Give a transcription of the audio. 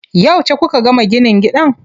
Yauce kuka gama ginin gidan?